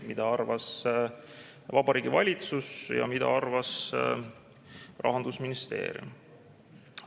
Mida arvas Vabariigi Valitsus ja mida arvas Rahandusministeerium?